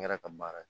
N yɛrɛ ka baara ye